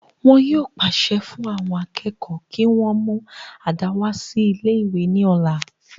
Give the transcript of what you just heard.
wọn yóò pàṣẹ fún àwọn akẹ́kọ̀ọ́ kí wọ́n mú àdá wá sí ilé ìwé ní ọ̀la